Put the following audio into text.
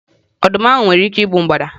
Ọdụm ahụ nwere ike igbu mgbada?